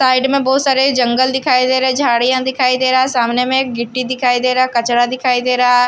side में बहुत सारे जंगल दिखाई दे रहे झाड़ियां दिखाई दे रहा है सामने में एक गिट्टी दिखाई दे रहा कचरा दिखाई दे रहा है--